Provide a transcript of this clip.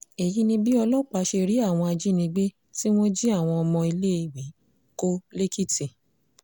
èyí ni bí ọlọ́pàá ṣe rí àwọn ajínigbé tí wọ́n jí àwọn ọmọ iléèwé kó lẹ́kìtì